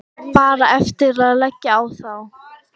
Bara eftir að leggja á þá.